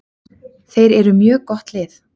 Þeir eru með mjög gott lið.